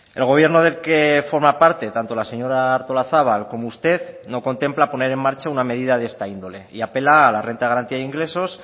el gobierno del que forma parte tanto la señora artolazabal como usted no contempla poner en marcha una medida de esta índole y apela a la renta de garantía de ingresos